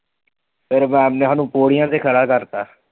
ਫਿਰ ma'am ਨੇ ਸਾਨੂੰ ਪੌੜੀਆਂ ਤੇ ਖੜਾ ਕਰਤਾ।